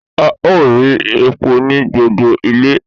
A o ri epo ni gbogbo ile.